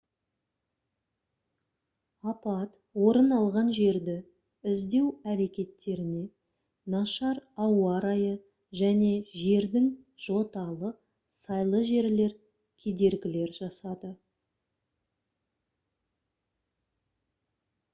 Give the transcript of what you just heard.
апат орын алған жерді іздеу әрекеттеріне нашар ауа райы және жердің жоталы сайлы жерлер кедергілер жасады